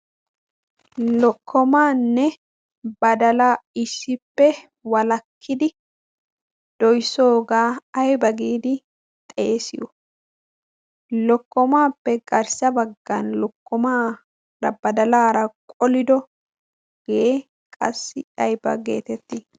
lokkomaanne badala issippe walakkidi doissoogaa ayba giidi xeesiyo lokkomaappe garssa baggan lokkomaara badalaara qolido gee qassi ayba geetettii